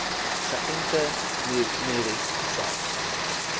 geënte merries selfs